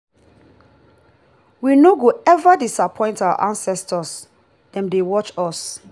we no go eva disappoint our ancestors dem dey watch us.